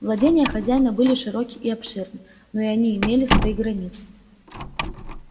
владения хозяина были широки и обширны но и они имели свои границы